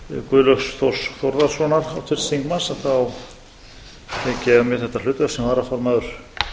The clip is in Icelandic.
guðlaugs þórs þórðarsonar háttvirts þingmanns tek ég að mér þetta hlutverk sem varaformaður